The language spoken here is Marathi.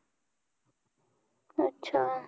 अच्छा!